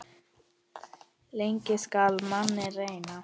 Lengi skal manninn reyna.